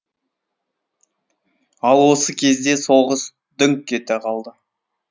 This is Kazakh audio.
ал осы кезде соғыс дүңк ете қалды